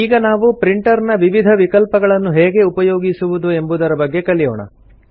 ಈಗ ನಾವು ಪ್ರಿಂಟರ್ ನ ವಿವಿಧ ವಿಕಲ್ಪಗಳನ್ನು ಹೇಗೆ ಉಪಯೋಗಿಸುವುದು ಎಂಬುದರ ಬಗ್ಗೆ ಕಲಿಯೋಣ